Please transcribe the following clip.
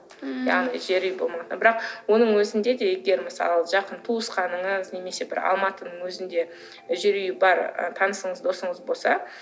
ммм яғни жер үй болмағанда ммм бірақ оның өзінде де егер мысалы жақын туысқаныңыз немесе бір алматының өзінде жер үйі бар ы танысыңыз досыңыз болса